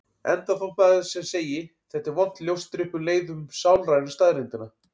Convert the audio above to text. Enda þótt maður sem segi: Þetta er vont ljóstri um leið upp um sálrænu staðreyndina.